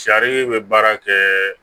Sari bɛ baara kɛ